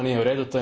To nije u redu.